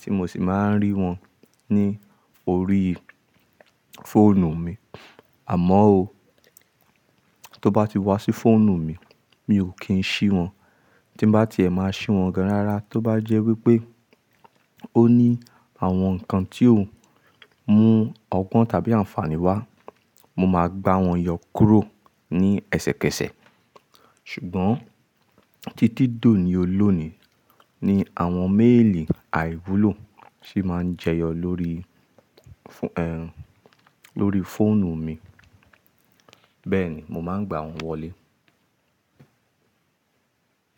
tí mo sì máa ń rí wọn ní orí fóònù mi. Àmọ́ o, tó bá ti wá sí fóònù mi, mi ò kí ń ṣí wọn. Tí bá ti ẹ̀ máa ṣí wọn ganrará, tó bá jẹ́ wípé ó ní àwọn ǹkan tí ó mú ọgbọ́n tàbí àǹfààní wá, mo máa gbá wọn yọ kúrò ní ẹsẹ̀kẹsẹ̀. Ṣùgbọ́n títí dóni olónìí ni àwọn méèlì àìwúlò sì máa ń jẹyọ lórí, ẹh, lórí fóònù mi. Bẹ́ẹ̀ ni, mo máa ń gba wọn wọlé.